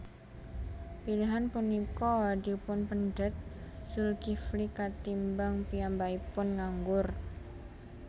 Pilihan punika dipunpendhet Zulkifli katimbang piyambakipun nganggur